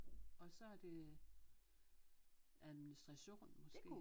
Og så er det administration måske